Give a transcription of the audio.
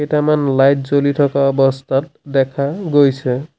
কেতেমান light জ্বলি থকা অৱস্থাত দেখা গৈছে।